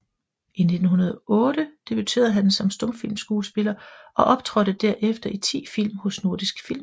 I 1908 debuterede han som stumfilmskuespiller og optrådte derefter i 10 film hos Nordisk Film